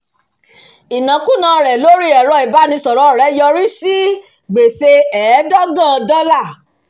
ìnákùná rẹ̀ lórí ẹ̀rọ ibánisọ̀rọ̀ rẹ̀ yọrí sí gbèsè ẹ́ẹ̀dọ́gọ̀n dọ́là